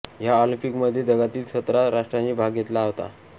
ह्या ऑलिंपिकमध्ये जगातील सतरा राष्ट्रांनी भाग घेतला होता